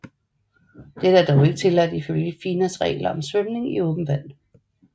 Dette er dog ikke tilladt i følge FINAs regler om svømning i åbent vand